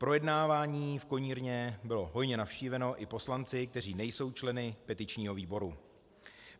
Projednávání v konírně bylo hojně navštíveno i poslanci, kteří nejsou členy petičního výboru.